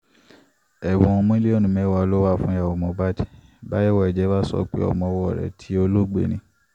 ẹwọn miliọnu mẹwa lo wa fun yawo mohbadi wa sọpe ọmọ ọwọ rẹ ti oloogbe ni